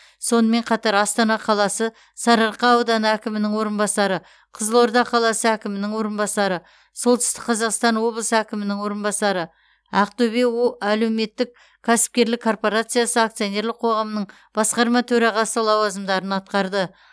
сонымен қатар астана қаласы сарыарқа ауданы әкімінің орынбасары қызылорда қаласы әкімінің орынбасары солтүстік қазақстан облысы әкімінің орынбасары ақтөбе әлеуметтік кәсіпкерлік корпорациясы акционерлік қоғамының басқарма төрағасы лауазымдарын атқарды